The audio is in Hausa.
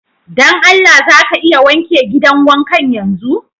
Don Allah za ka iya wanke gidan wankan yanzu?